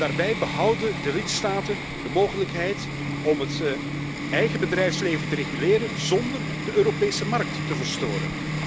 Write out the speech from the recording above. Daarbij behouden de lidstaten de mogelijkheid om het eigen bedrijfsleven te reguleren zonder de Europese markt te verstoren.